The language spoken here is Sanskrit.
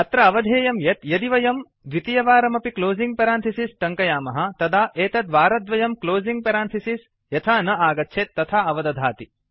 अत्र अवधेयं यत् यदि वयं द्वितीयवारमपि क्लोसिंग् पेरंथिसिस् टङ्कयामः तदा एतत् वारद्वयं क्लोसिंग् पेरांथिसिस् यथा न आगच्छेत् तथा अवदधाति